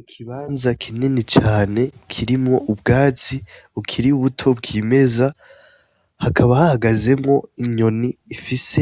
Ikibanza kinini cane kirimwo ubwazi ukiriye ubuto bw'imeza hakaba hahagazemwo inyoni ifise